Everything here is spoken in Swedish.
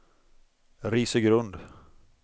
Risögrund